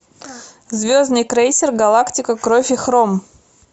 звездный крейсер галактика кровь и хром